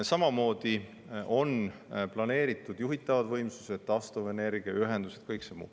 Samamoodi on planeeritud juhitavad võimsused, taastuvenergiaühendused – kõik see.